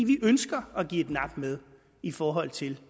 vi ønsker at give et nap med i forhold til